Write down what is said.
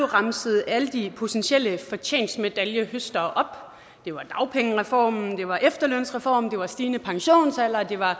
remset alle de potentielle fortjenstmedaljehøstere det var dagpengereformen det var efterlønsreformen det var stigende pensionsalder og det var